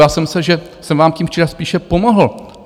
Já jsem myslel, že jsem vám tím včera spíše pomohl.